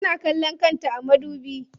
Tana kallon kanta a madubi.